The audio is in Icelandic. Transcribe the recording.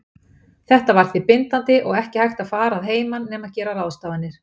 Þetta var því bindandi og ekki hægt að fara að heiman nema gera ráðstafanir.